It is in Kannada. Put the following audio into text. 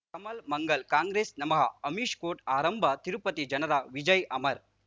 ಕಮಲ್ ಮಂಗಳ್ ಕಾಂಗ್ರೆಸ್ ನಮಃ ಅಮಿಷ್ ಕೋರ್ಟ್ ಆರಂಭ ತಿರುಪತಿ ಜನರ ವಿಜಯ್ ಅಮರ್